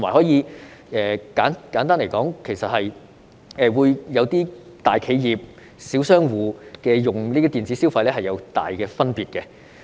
再者，簡單來說，大企業和小商戶使用這些電子消費是大有分別的。